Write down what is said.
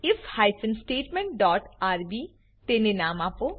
if hyphen statement dot RB તેને નામ આપો